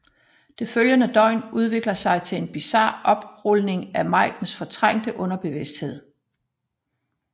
Det følgende døgn udvikler sig til en bizar oprulning af Maikens fortrængte underbevidsthed